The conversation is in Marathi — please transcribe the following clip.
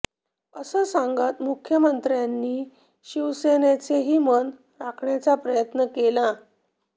असं सांगत मुख्यमंत्र्यांनी शिवसेनेचेही मन राखण्याचा प्रयत्न केला